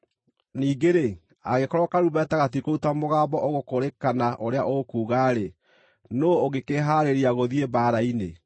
Ningĩ-rĩ, angĩkorwo karumbeta gatikũruta mũgambo ũgũkũũrĩkana ũrĩa ũkuuga-rĩ, nũũ ũngĩkĩhaarĩria gũthiĩ mbaara-inĩ?